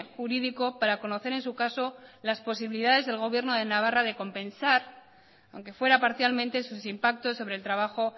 jurídico para conocer en su caso las posibilidades del gobierno de navarra de compensar aunque fuera parcialmente sus impactos sobre el trabajo